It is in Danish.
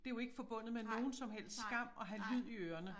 Det jo ikke forbundet med nogen som helst skam at have lyd i ørerne